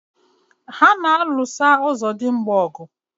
Ha na-alụsọ ọzọdimgba ọgụ.